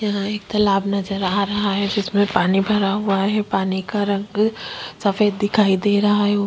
यहाँ एक तालाब नजर आ रहा है जिसमें पानी भरा हुआ है पानी का रंग सफेद दिखाई दे रहा है उ--